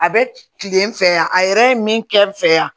A bɛ kilen n fɛ yan a yɛrɛ ye min kɛ n fɛ yan